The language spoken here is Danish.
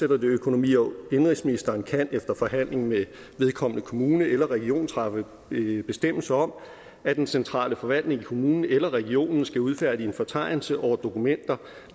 økonomi og indenrigsministeren kan efter forhandling med vedkommende kommune eller region træffe bestemmelse om at den centrale forvaltning i kommunen eller regionen skal udfærdige en fortegnelse over dokumenter